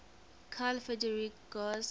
carl friedrich gauss